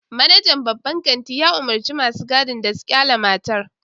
Manajan babban kantin ya umurci masu gadin da su kyale matar